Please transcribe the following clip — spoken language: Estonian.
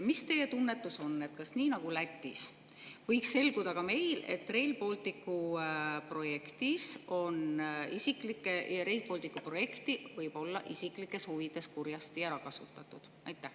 Mis teie tunnetus on, kas nii nagu Lätis võiks selguda ka meil, et Rail Balticu projekti võib olla isiklikes huvides kurjasti ära kasutatud?